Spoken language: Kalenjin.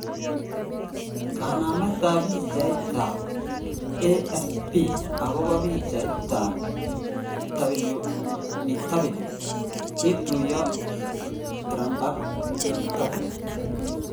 kanamet ap pichait ap, AFP agopo pichait ap, Bw kituyo trumpak Bw